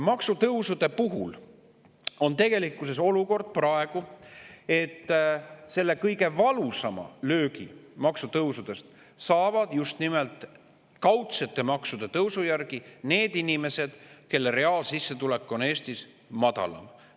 Maksutõusudega on olukord praegu selline, et kõige valusama löögi saavad maksutõusudest just nimelt kaudsete maksude tõusu tõttu need inimesed, kelle reaalsissetulek on Eestis madalam.